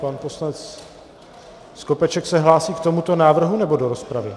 Pan poslanec Skopeček se hlásí k tomuto návrhu, nebo do rozpravy?